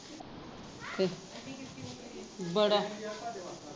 ਬੜਾ